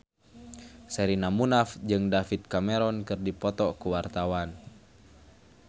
Sherina Munaf jeung David Cameron keur dipoto ku wartawan